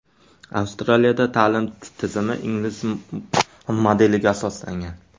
Avstraliyada ta’lim tizimi ingliz modeliga asoslangan.